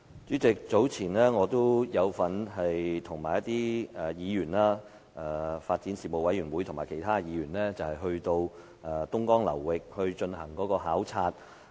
主席，早前我與其他議員有份與發展事務委員會前往東江流域進行考察的活動。